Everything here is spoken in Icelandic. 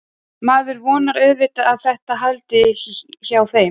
Maður vonar auðvitað að þetta haldi hjá þeim.